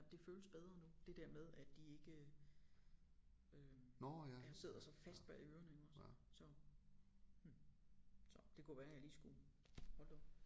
Det føles bedre nu det der med at de ikke øh ja sidder så fast bag ørerne ikke også så hm så det kunne være jeg lige skulle hold da op